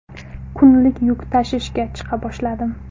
Kunlik yuk tashishga chiqa boshladim.